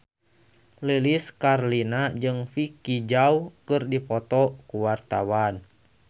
Lilis Karlina jeung Vicki Zao keur dipoto ku wartawan